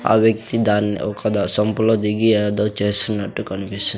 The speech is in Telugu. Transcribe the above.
ఆ వ్యక్తి దాన్ని ఒక దా సంపులో దిగి ఏదో చేస్తున్నట్టు కనిపిస్--